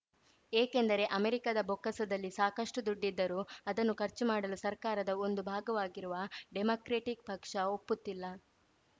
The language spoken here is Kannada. ಏಕೆಂದರೆ ಅಮೆರಿಕದ ಬೊಕ್ಕಸದಲ್ಲಿ ಸಾಕಷ್ಟುದುಡ್ಡಿದ್ದರೂ ಅದನ್ನು ಖರ್ಚು ಮಾಡಲು ಸರ್ಕಾರದ ಒಂದು ಭಾಗವಾಗಿರುವ ಡೆಮಾಕ್ರೆಟಿಕ್‌ ಪಕ್ಷ ಒಪ್ಪುತ್ತಿಲ್ಲ